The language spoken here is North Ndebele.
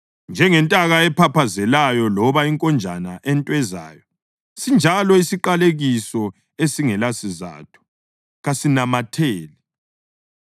Njengentaka ephaphazelayo loba inkonjane entwezayo, sinjalo isiqalekiso esingelasizatho kasinamatheli.